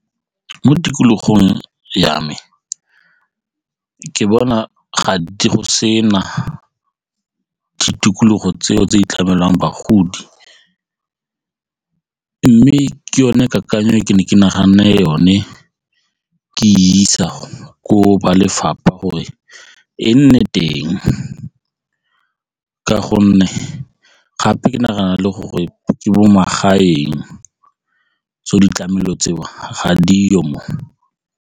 Mo tikologong ya me ke bona gantsi go sena ditikologo tseo tse di tlamelang bagodi mme ke yone kakanyo ke ne ke naganne yone ke isa gore ba lefapha gore e nne teng ka gonne gape ke nagana e le gore ke mo magaeng tseo ditlamelo tseo ga mo.